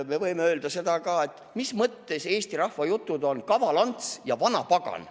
Me võime öelda seda ka, et mis mõttes Eesti rahvajutt on "Kaval-Ants ja Vanapagan".